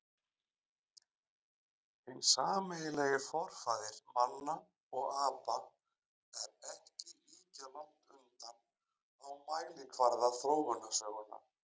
Hinn sameiginlegi forfaðir manna og apa er ekki ýkja langt undan á mælikvarða þróunarsögunnar.